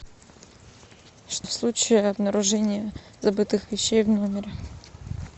в случае обнаружения забытых вещей в номере